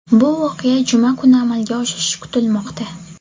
Bu voqea juma kuni amalga oshishi kutilmoqda.